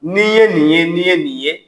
N'i ye nin ye n'i ye nin ye.